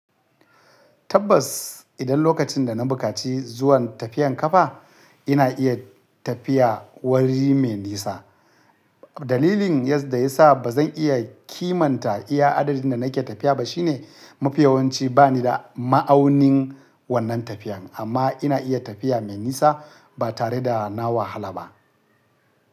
Tabbas, idan lokacin da na bukaci zuwan tafiyan ƙafa, ina iya tafiya wuri mai nisa. Dalilin yadda ya sa ba zan iya kimanta iya adadin da nake tafiya ba shine mafiyawanci ba ni da ma'aunin wannan tafiyan amma ina iya tafiya mai nisa ba tare da na wahala ba.